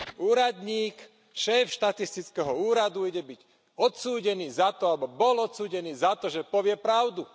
Úradník, šéf štatistického úradu, ide byť odsúdený za to alebo bol odsúdený za to že povie pravdu.